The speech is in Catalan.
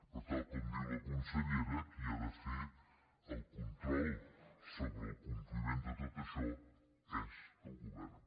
per tant com diu la consellera qui ha de fer el control sobre el compliment de tot això és el govern